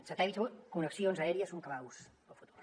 satèl·lits connexions aèries són claus pel futur